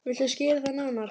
Viltu skýra það nánar?